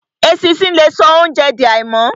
Eṣinṣin le so óunjẹ di àìmọ́.